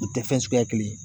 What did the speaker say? U tɛ fɛn suguya kelen ye